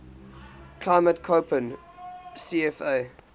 climate koppen cfa